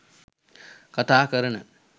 කතා කරන